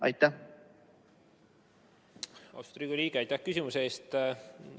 Austatud Riigikogu liige, aitäh küsimuse eest!